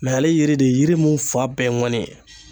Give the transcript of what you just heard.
Mɛ ale yiri de ye yiri mun fan bɛɛ ye ŋɔni ye